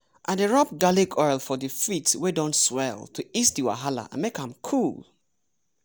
i dey rub garlic oil for di feet wey don swell to ease di wahala and make am cool.